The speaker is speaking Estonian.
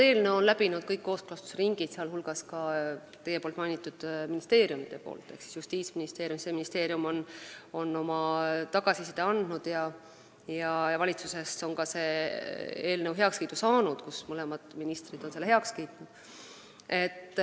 Eelnõu on läbinud kõik kooskõlastusringid, sh teie mainitud ministeeriumid ehk Justiitsministeerium ja Siseministeerium on oma tagasiside andnud ja ka valitsuses on see eelnõu heakskiidu saanud, mõlemad ministrid on selle heaks kiitnud.